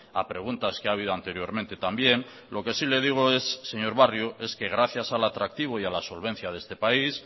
a preguntas que ha habido anteriormente también lo que sí le digo es señor barrio es que gracias al atractivo y a la solvencia de este país